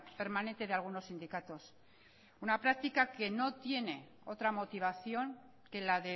permanente de algunos sindicatos una práctica que no tiene otra motivación que la